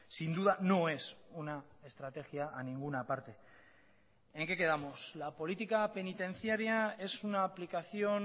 sin duda no es una estrategia a ninguna parte en qué quedamos la política penitenciaria es una aplicación